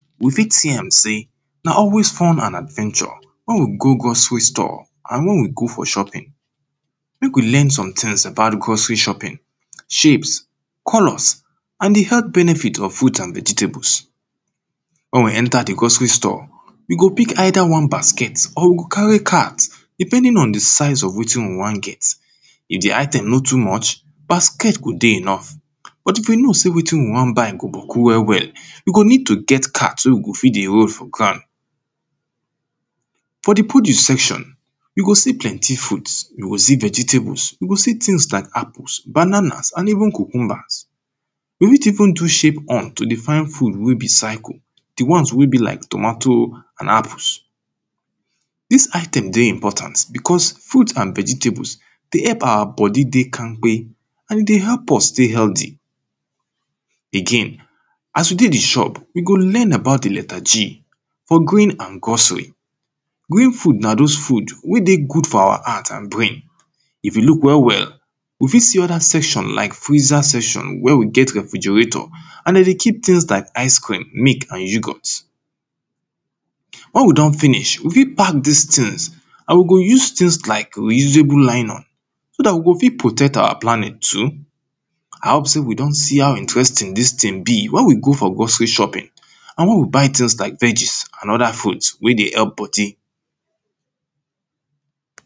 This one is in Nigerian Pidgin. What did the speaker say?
you fit see am sey, na always fun and adventure wen we go grocery store and wen we go for shopping. mek we learn sometings about grocery shopping, shapes, colours, and the health benefit of fruits and vegetables. wen we enter the grocery store, we go pick either one basket, or we go carry cart depending on the size of wetin we wan get. if the item no too much basket go dey enough, but if you know sey wetin you wan buy go boku well well, you go need to gat cart wey you go fit dey roll for ground. for the podue section you go see plenty foods, you go see vegetables you go see tings like apples, bananas and even cucumbers. you fit even do shape hunt to dey find food wey be circle, the ones wey be like tomato, and apples. dis item dey important because, fruit and vegetables dey help awa body dey kampe and e dey help us stay healthy. again, as we dey the shop we go learn about the letter G, for green ang grocery. green food na dose food wey dey good for awa heart and brain. if you look well well, you fit see other section like freezer section, where we get refrigerator, and de dey keep tings like ice cream, yoghurt and milk. wen e don finish, we fit pack dis tings, and we go use tings like re-usable nylon so dat we go fit protect awa planet too. i hope sey we don see how interesting dis ting be, wen we go for grocery shopping and wen we buy tings like veges, and other foods wey dey help body.